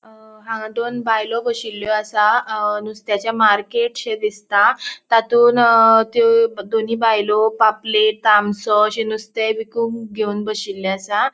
अ हांगा दोन बायलो बशिल्लो असा अ नुस्तेचे मार्केटशे दिसता तांतून त्यो दोनी बायलो पापलेट ताम्बश्यो अशे नुस्ते विकुंक घेवन बोशिल्लो असा.